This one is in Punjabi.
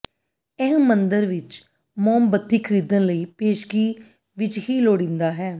ਇਹ ਮੰਦਰ ਵਿੱਚ ਮੋਮਬੱਤੀ ਖਰੀਦਣ ਲਈ ਪੇਸ਼ਗੀ ਵਿੱਚ ਹੀ ਲੋੜੀਦਾ ਹੈ